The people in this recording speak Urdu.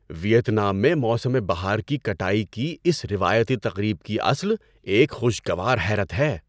‏ویتنام میں موسم بہار کی کٹائی کی اس روایتی تقریب کی اصل ایک خوشگوار حیرت ہے۔